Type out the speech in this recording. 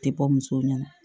Tɛ bɔ musow ɲɛna